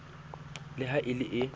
le ha e le e